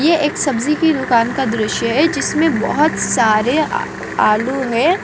ये एक सब्जी की दुकान का दृश्य हैं जिसमे बहुत सारे आ आलू है।